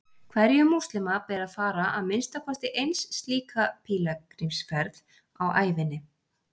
hverjum múslima ber að fara að minnsta kosti eins slíka pílagrímsferð á ævinni